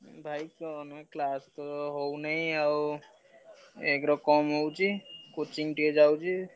ଭାଇ କଣ class ତ ହଉନାଇ ଆଉ ଏକରେ କମ୍ ହଉଛି। Coaching ଟିକେ ଯାଉଛି।